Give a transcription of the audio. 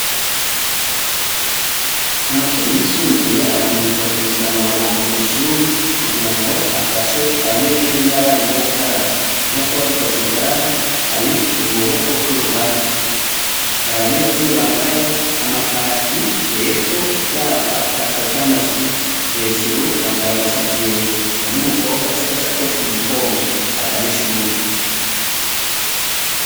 Amashure yisumbuye arahimirizwa kuzana amabombo kw'ishure kugirango afashe abanyeshure n'abarimu gukaraba, nkuko babaikoze ngaha hari kukuboko kw'ibubamfu, har'abanyeshure bambaye amakakaki, amapantaro canke amajipo, hejuru bambaye amashati yera, harih umukobwa afise agasakoshi mumugongo agana ishure.